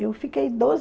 Eu fiquei doze